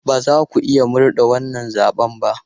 Ba za ku iya murde wannan zaɓen ba!